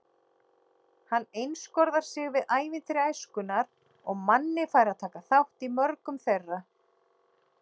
Hann einskorðar sig við ævintýri æskunnar og Manni fær að taka þátt í mörgum þeirra.